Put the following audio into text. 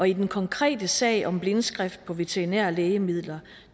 i den konkrete sag om blindskrift på veterinære lægemidler